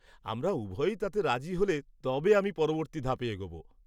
-আমরা উভয়ই তাতে রাজি হলে তবে আমি পরবর্তী ধাপে এগোব।